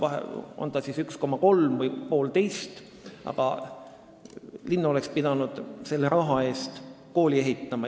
Olgu see täpne arv siis 1,3 või 1,5, aga linn oleks pidanud selle raha eest kooli ehitama.